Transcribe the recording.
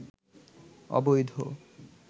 অবৈধ